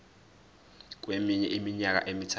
kweminye iminyaka emithathu